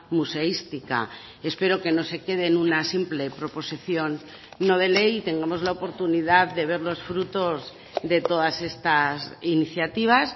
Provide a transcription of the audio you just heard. museística espero que no se quede en una simple proposición no de ley y tengamos la oportunidad de ver los frutos de todas estas iniciativas